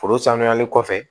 Foro sanuyali kɔfɛ